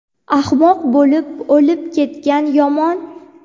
ahmoq bo‘lib o‘lib ketgan yomon.